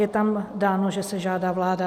Je tam dáno, že se žádá vláda.